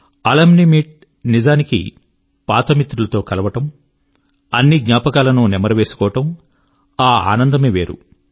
alumni meet నిజానికి పాత మిత్రులతో కలవడం అన్ని జ్ఞాపకాలను నెమరు వేసుకోవడం ఆ ఆనందమే వేరు